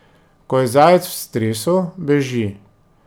Ko je zajec v stresu, beži.